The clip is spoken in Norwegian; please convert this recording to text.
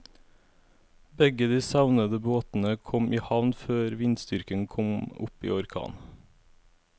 Begge de savnede båtene kom i havn før vindstyrken kom opp i orkan.